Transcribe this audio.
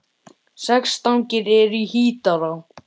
Sex stangir eru í Hítará.